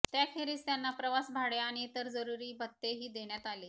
त्याखेरीज त्यांना प्रवास भाडे आणि इतर जरुरी भत्तेही देण्यात आले